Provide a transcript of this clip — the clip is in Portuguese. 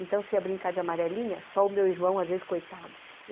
Então, se ia brincar de amarelinha, só o meu irmão, às vezes, coitado.